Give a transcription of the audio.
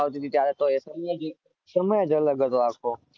આવતી ટી ત્યારે તો સમય જ અલગ હતો આખો